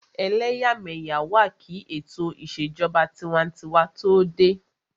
Ẹlẹ́yàmẹ́yà wà kí ètò ìṣèjọba tinwatinwa tó dé